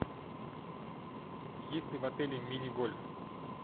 есть ли в отеле мини гольф